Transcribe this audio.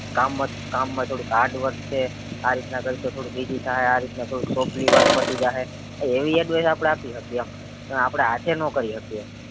કામ માં કામ થોડુક hard work છે આ રીતના કરીશ તો થોડુક easy થાહે આ રીતના થોડુક softly work પતિ જાહે અ એવી advice આપડે આપી શકીએ એમ પણ આપડે હાથે નો કરી હકીયે